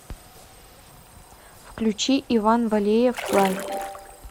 включи иван валеев флай